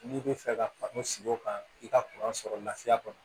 N'i bɛ fɛ ka u sigi o kan i ka kuran sɔrɔ lafiya kɔnɔ